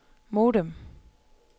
modem